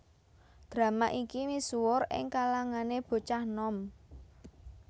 Drama iki misuwur ing kalangané bocah nom